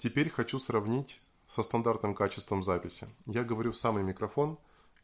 теперь хочу сравнить со стандартом качеством записи я говорю в самый микрофон